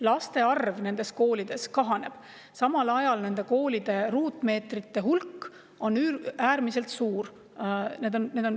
Laste arv nendes koolides kahaneb, samal ajal on nende koolide ruutmeetrite hulk äärmiselt suur.